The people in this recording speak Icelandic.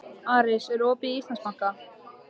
Aris, er opið í Íslandsbanka?